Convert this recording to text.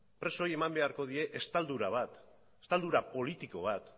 presoei eman beharko die estaldura bat estaldura politiko bat